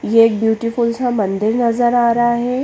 ये ब्यूटीफुल सा मंदिर नज़र आरा है।